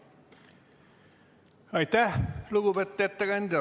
Aitäh, lugupeetud ettekandja!